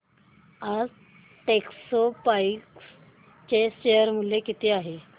आज टेक्स्मोपाइप्स चे शेअर मूल्य किती आहे